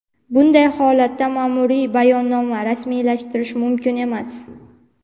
bunday holatda maʼmuriy bayonnoma rasmiylashtirish mumkin emas.